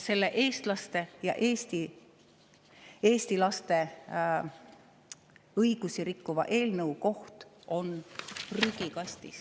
Selle eestlaste ja eesti laste õigusi rikkuva eelnõu koht on prügikastis.